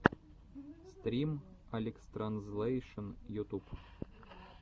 стрим алекстранзлэйшн ютуб